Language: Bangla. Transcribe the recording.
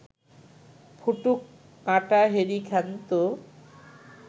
ফুঁটুক, কাঁটা হেরি ক্ষান্ত